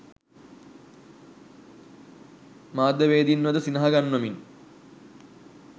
මාධ්‍යවේදීන්වද සිනහ ගන්වමිනි